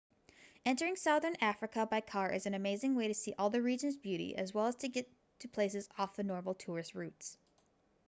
entering southern africa by car is an amazing way to see all the region's beauty as well as to get to places off the normal tourist routes